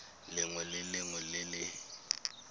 lengwe le lengwe le le